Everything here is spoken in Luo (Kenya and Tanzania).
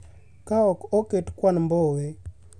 Ka ok oket kwan Mbowe